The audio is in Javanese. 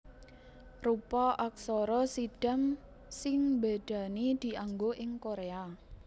Rupa aksara Siddham sing mbédani dianggo ing Koréa